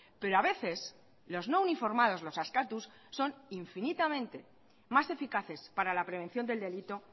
pero a veces los no uniformados los askatus son infinitamente más eficaces para la prevención del delito